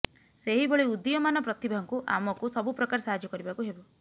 ସେହିଭଳି ଉଦୀୟମାନ ପ୍ରତିଭାଙ୍କୁ ଆମକୁ ସବୁ ପ୍ରକାର ସାହାଯ୍ୟ କରିବାକୁ ହେବ